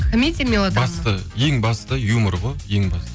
комедия мелодрама басты ең басты юмор ғой ең басты